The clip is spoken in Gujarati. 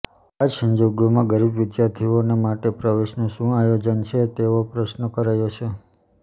આ સંજોગોમાં ગરીબ વિદ્યાર્થીઓને માટે પ્રવેશનું શું આયોજન છે તેવો પ્રશ્ન કરાયો છે